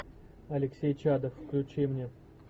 алексей чадов включи мне